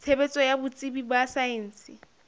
tshebetso ya botsebi ba saense